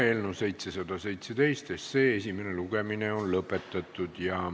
Eelnõu 717 esimene lugemine on lõpetatud.